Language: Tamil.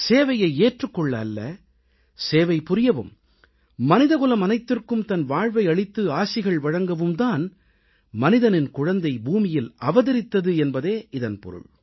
சேவையை ஏற்றுக் கொள்ள அல்ல சேவை புரியவும் மனிதகுலம் அனைத்திற்கும் தன் வாழ்வை அளித்து ஆசிகள் வழங்கவும் தான் மனிதனின் குழந்தை பூமியில் அவதரித்தது என்பதே இதன் பொருள்